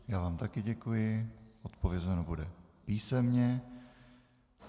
Já vám taky děkuji, odpovězeno bude písemně.